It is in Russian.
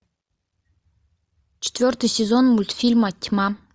четвертый сезон мультфильма тьма